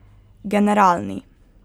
Generalni.